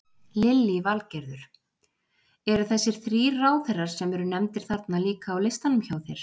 Lillý Valgerður: Eru þessir þrír ráðherrar sem eru nefndir þarna líka á listanum hjá þér?